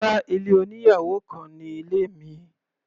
Rárá, ilé oníyàwò kan ni ilé mi.